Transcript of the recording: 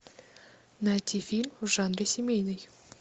найти фильм в жанре семейный